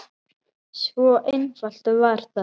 Svo einfalt var það.